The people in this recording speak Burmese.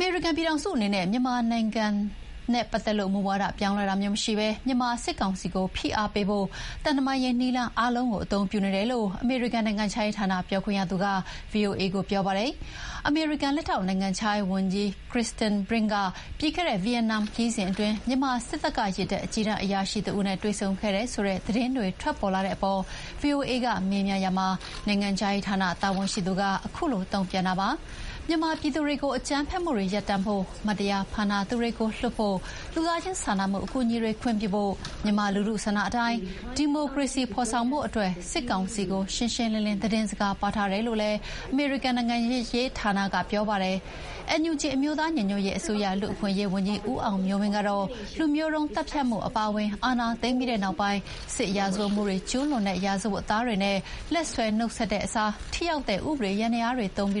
မေရိကန်ပြည်ထောင်စုအနေနဲ့ မြန်မာနိုင်ငံပတ်သက်လို့ မူဝါဒပြောင်းလဲတာမျိုးမရှိဘဲ မြန်မာစစ်ကောင်စီကိုဖိအားပေးဖို့ သံတမန်ရေးနည်းလမ်းအားလုံးကို အသုံးပြုနေတယ်လို့ အမေရိကန်နိုင်ငံခြားရေးဌာနပြောခွင့်ရသူက ဗွီအိုအေကို ပြောပါတယ်။ အမေရိကန်လက်ထောက်နိုင်ငံခြားရေးဝန်ကြီး Kritenbrink ဟာ ပြီးခဲ့တဲ့ဗီယက်နမ်ခရီးစဉ်အတွင်း မြန်မာစစ်တပ်က ရေတပ်အကြီးတန်းအရာရှိတဦးနဲ့ တွေ့ဆုံခဲ့တယ်ဆိုတဲ့ သတင်းတွေ ထွက်ပေါ်လာတဲ့အပေါ် ဗွီအိုအေကမေးမြန်းရာမှာ နိုင်ငံခြားရေးဌာန တာဝန်ရှိသူက အခုလို တုံ့ပြန်တာပါ။ မြန်မာပြည်သူတွေကို အကြမ်းဖက်မှုတွေ ရပ်တန့်ဖို့၊ မတရားဖမ်းထာသူတွေကို လွှတ်ဖို့၊ လူသားချင်းစာနာမှုအကူအညီတွေခွင့်ပြုဖို့၊ မြန်မာလူထုဆန္ဒအတိုင်း ဒီမိုကရေစီဖော်ဆောင်ဖို့အတွက် စစ်ကောင်စီကို ရှင်းရှင်းလင်းလင်း သတင်းစကားပါးထားတယ်လို့လည်း အမေရိကန်နိုင်ငံခြားရေးဌာနက ပြောပါတယ်။ NUG အမျိုးသားညီညွတ်ရေးအစိုးရ လူ့အခွင့်အရေးဝန်ကြီး ဦးအောင်မျိုးမင်းကတော့ လူမျိုးသုဉ်းသတ်ဖြတ်မှုအပါအဝင် အာဏာသိမ်းပြီးနောက်ပိုင်း စစ်ရာဇဝတ်မှုတွေကျူးလွန်တဲ့ ရာဇဝတ်သားတွေနဲ့ လက်ဆွဲနှုတ်ဆက်တဲ့အစား ထိရောက်တဲ့ ဥပဒေယန္တရားတွေသုံးပြီး